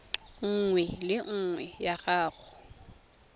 nngwe le nngwe ya go